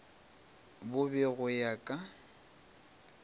bo be go ya ka